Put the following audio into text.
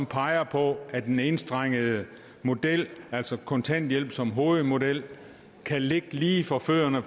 peger på at den enstrengede model altså kontanthjælp som hovedmodel kan ligge lige for fødderne